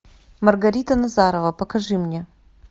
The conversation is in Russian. маргарита назарова покажи мне